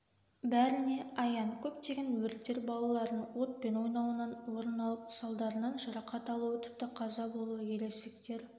бәріне аян көптеген өрттер балалардың отпен ойнауынан орын алып салдарынан жарақат алуы тіпті қаза болуы ересектер